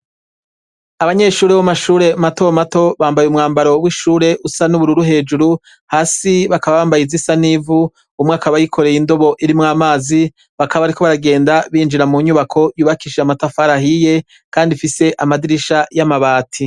Abanyeshure b' mashure matomato bambaye umwambaro w'ishure usa n'ubururu hejuru hasi bakabambaye izoisa n'ivu umwakabayikoreye indobo irimwo amazi bakaba, ariko baragenda binjira mu nyubako yubakisha matafarahiye, kandi ifise amadirisha y'amabati.